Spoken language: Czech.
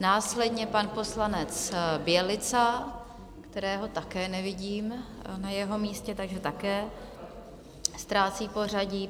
následně pan poslanec Bělica, kterého také nevidím na jeho místě, takže také ztrácí pořadí.